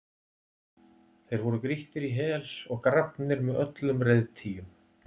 Þeir voru grýttir í hel og grafnir með öllum reiðtygjum.